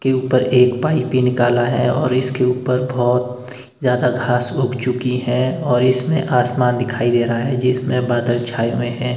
के ऊपर एक पाइप भी निकला है और इसके ऊपर बहोत ज्यादा घास उग चुकी है और इसमें आसमान दिखाई दे रहा है जिसमें बादल छाए हुए हैं।